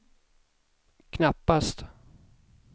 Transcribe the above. knappast